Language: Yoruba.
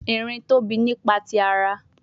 Erin tobi nipa ti ara